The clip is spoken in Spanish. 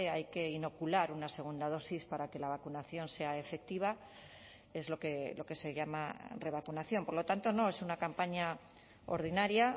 hay que inocular una segunda dosis para que la vacunación sea efectiva es lo que se llama revacunación por lo tanto no es una campaña ordinaria